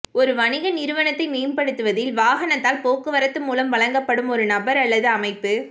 ஒரு வணிக நிறுவனத்தை மேம்படுத்துவதில் வாகனத்தால் போக்குவரத்து மூலம் வழங்கப்படும் ஒரு நபர் அல்லது அமைப்பு